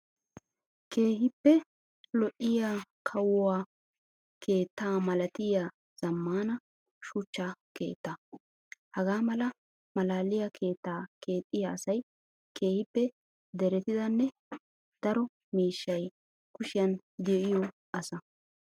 Keehippe lo'iyaa kawuwaa keetta malatiyaa zammaana shuchcha keettaa. Hagaa mala malaaliyaa keettaa keexxiyaa asayi keehippe deretidanne daro miishshayi kushiyan diyoo asaa.